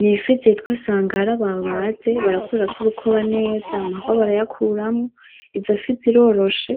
Nifi zitwa sangara babaze barakurako urukoba neza, amahwa barayakuramwo; izofi ziroroshe